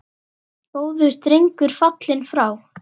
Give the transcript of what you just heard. Góður drengur fallinn frá.